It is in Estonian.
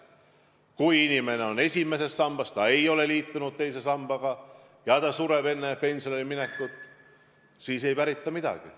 Kui inimesel on vaid esimene sammas, ta ei ole liitunud teise sambaga ja sureb enne pensionile minekut, siis ei pärita midagi.